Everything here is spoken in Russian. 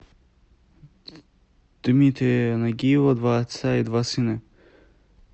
дмитрия нагиева два отца и два сына